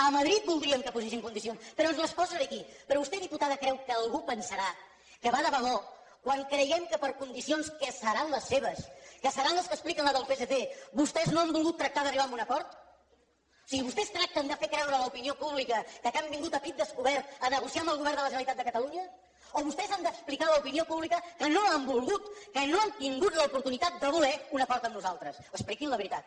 a madrid voldríem que posessin condicions però ens les posen aquí però vostè diputada creu que algú pensarà que va de debò quan creiem que per condicions que seran les seves que seran les que expliquen els del psc vostès no han volgut tractar d’arribar a un acord o sigui vostès tracten de fer creure a l’opinió pública que han vingut a pit descobert a negociar amb el govern de la generalitat de catalunya o vostès han d’explicar a l’opinió pública que no han volgut que no han tingut l’oportunitat de voler un acord amb nosaltres expliquin la veritat